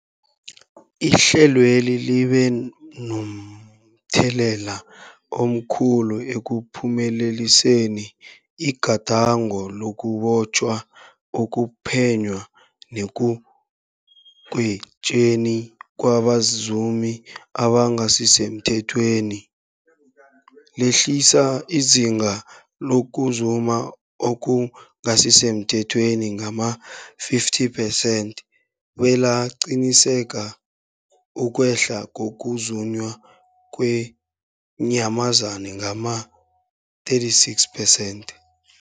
Ihlelweli libe momthelela omkhulu ekuphumeleliseni igadango lokubotjhwa, ukuphenywa nekugwetjweni kwabazumi abangasisemthethweni, lehlisa izinga lokuzuma okungasi semthethweni ngama-50 percent, belaqinisekisa ukwehla kokuzunywa kweenyamazana ngama-76percent.